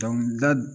Dɔnkilida